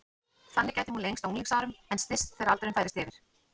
Þannig gæti hún lengst á unglingsárum en styst þegar aldurinn færist yfir.